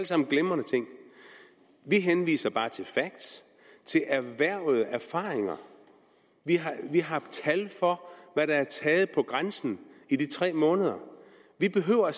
sammen glimrende ting vi henviser bare til facts til erhvervede erfaringer vi har tal for hvad der er taget på grænsen i de tre måneder vi behøver